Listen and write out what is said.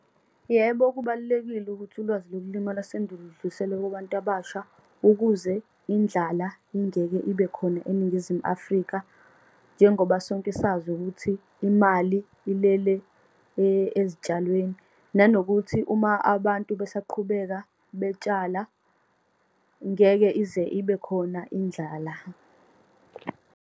Yebo, kubalulekile ukuthi ulwazi lokulima lwasendulo ludluliselwe kubantu abasha, ukuze indlala ingeke ibe khona eNingizimu Afrika. Njengoba sonke sazi ukuthi imali ilele ezitshalweni, nanokuthi uma abantu besaqhubeka betshala ngeke ize ibe khona indlala.